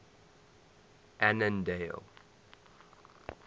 annandale